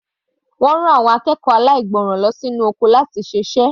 Wọ́n rán àwọn akẹ́kọ̀ọ́ aláìgbọràn lọ sí inú oko láti ṣe iṣẹ́.